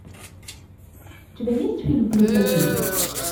у тебя есть фильм плюс один